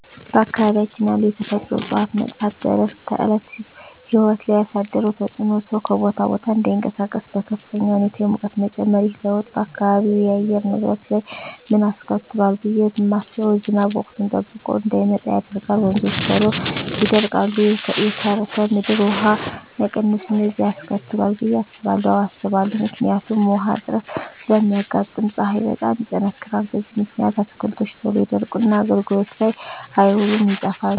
በአካባቢያችን ያሉ የተፈጥሮ እፅዋት መጥፋት በዕለት ተዕለት ሕይወት ላይ ያሣደረው ተፅኖ ሠው ከቦታ ቦታ እዳይንቀሣቀስ፤ በከፍተኛ ሁኔታ የሙቀት መጨመር። ይህ ለውጥ በአካባቢው የአየር ንብረት ላይ ምን አስከትሏል ብየ ማስበው። ዝናብ ወቅቱን ጠብቆ እዳይመጣ ያደርጋል፤ ወንዞች ቶሎ ይደርቃሉ፤ የከርሠ ምድር ውሀ መቀነስ፤ እነዚን አስከትሏል ብየ አስባለሁ። አዎ አስባለሁ። ምክንያቱም ውሀ እጥረት ስለሚያጋጥም፤ ፀሀይ በጣም ይጠነክራል። በዚህ ምክንያት አትክልቶች ቶሎ ይደርቁና አገልግሎት ላይ አይውሉም ይጠፋሉ።